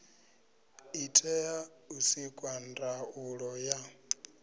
itea u sikwa ndaulo ya